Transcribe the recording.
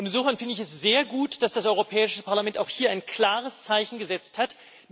Insofern finde ich es sehr gut, dass das Europäische Parlament auch hier ein klares Zeichen gesetzt hat.